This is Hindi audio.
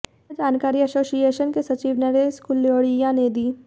यह जानकारी एसोसिएशन के सचिव नरेश कुलडिय़ा ने दी